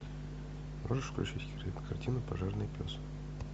можешь включить кинокартину пожарный пес